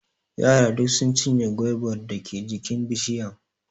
Yara duk sun cinye gwaibar dake jikin bishiyan.